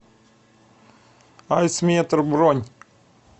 айсметр бронь